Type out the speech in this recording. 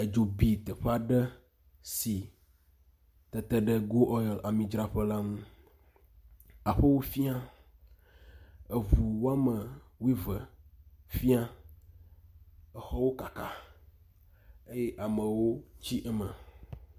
Edzo bi teƒe aɖe si tete ɖe goil amidzraƒe la ŋu, aƒewo fĩa, eʋu woame wuieve fĩa, exɔwo kaka eye amewo tsi eme.